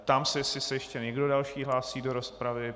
Ptám se, jestli se ještě někdo další hlásí do rozpravy.